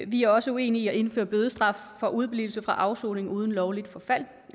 vi er også uenige i at indføre bødestraf for udeblivelse fra afsoning uden lovligt forfald